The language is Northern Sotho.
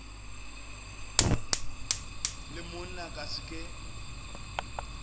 le monna ka se ke